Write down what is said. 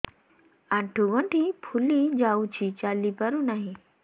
ଆଂଠୁ ଗଂଠି ଫୁଲି ଯାଉଛି ଚାଲି ପାରୁ ନାହିଁ